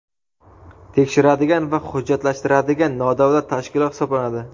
tekshiradigan va hujjatlashtiradigan nodavlat tashkilot hisoblanadi.